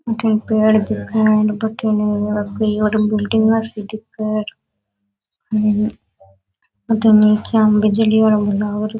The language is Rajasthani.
अठीन पेड़ दिखे बठीने बिल्डिंग सी दिखे बठीने बिजली आलो लाग --